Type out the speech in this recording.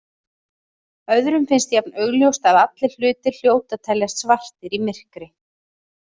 Öðrum finnst jafn augljóst að allir hlutir hljóti að teljast svartir í myrkri.